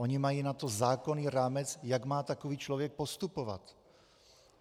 Oni na to mají zákonný rámec, jak má takový člověk postupovat.